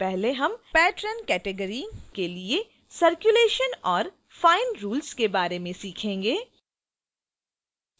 सबसे पहले हम patron category के लिए circulation और fine rules के बारे में सीखेंगे